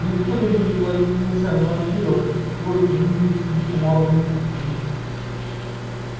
и никто не будет ловить ночами вампиров пить кровь и вынюхивать следы по морозным улицам